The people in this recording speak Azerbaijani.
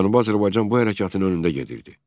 Cənubi Azərbaycan bu hərəkatın önündə gedirdi.